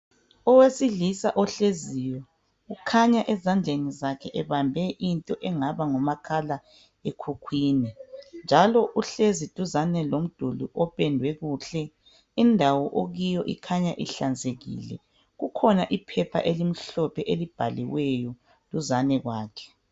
Owesailisa ohleziyo kukhanya ezandleni zakhe ebambe into engaba ngumakhala emkhukwini njalo uhlezi duzane lomdulli opendwe kuhle. Indawo ekuyo kukhanya inhlanzekile kukhona iphepha elimhlophe elibhaliweyo duzane kwakhe